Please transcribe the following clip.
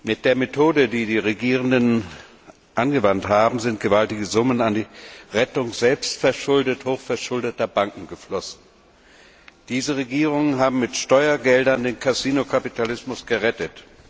Mit der Methode, die die Regierenden angewandt haben, sind gewaltige Summen in die Rettung selbstverschuldet hochverschuldeter Banken geflossen. Diese Regierungen haben mit Steuergeldern den Kasinokapitalismus gerettet.